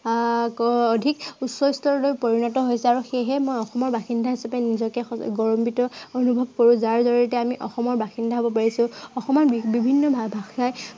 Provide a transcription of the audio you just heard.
আহ অধিক উচ্চস্তৰলৈ পৰিণত হৈছে আৰু সেয়েহে মই অসমৰ বাসিন্দা হিচাপে নিজকে গৌৰাৱান্বিত অনুভৱ কৰো যাৰ জৰিয়তে অসমৰ বাসিন্দা হ'ব পাৰিছো। অসমৰ বিভিন্ন ভাষাৰ